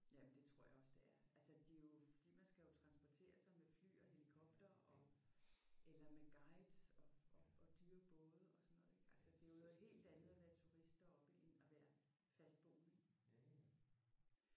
Jamen det tror jeg det er. Altså det er jo fordi man skal jo transportere sig med fly og helikopter og eller med guides og og dyre både og sådan noget ik? Altså det er noget helt andet at være turist deroppe end fastboende ik?